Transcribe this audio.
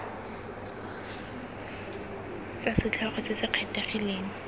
tsa setlhogo se se kgethegileng